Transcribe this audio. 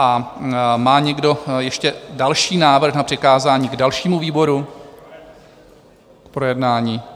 A má někdo ještě další návrh na přikázání dalšímu výboru k projednání?